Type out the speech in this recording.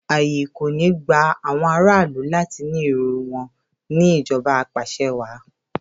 Ààyè kò ní gba àwọn aráàlú láti ní èrò wọn ní ìjọba apàṣẹwàá.